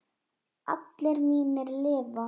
Allir mínir lifa.